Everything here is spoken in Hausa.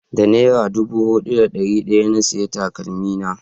da nera dubu daya da dari hudu na saya takalmi na